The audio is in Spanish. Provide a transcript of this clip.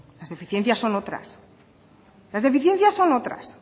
las deficiencias son otras las deficiencias son otras